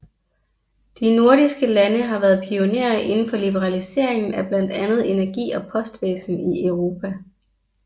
De nordiske lande har været pionerer inden for liberaliseringen af blandt andet energi og postvæsen i Europa